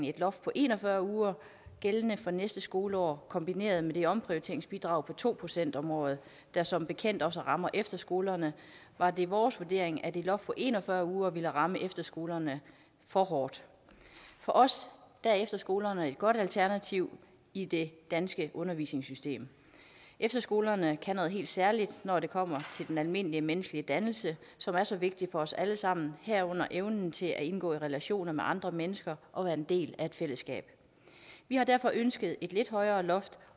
et loft på en og fyrre uger gældende fra næste skoleår kombineret med det omprioriteringsbidrag på to procent om året der som bekendt også rammer efterskolerne var det vores vurdering at et loft på en og fyrre uger ville ramme efterskolerne for hårdt for os er efterskolerne et godt alternativ i det danske undervisningssystem efterskolerne kan noget helt særligt når det kommer til den almenmenneskelige dannelse som er så vigtig for os alle sammen herunder evnen til at indgå i relationer med andre mennesker og være en del af et fællesskab vi har derfor ønsket et lidt højere loft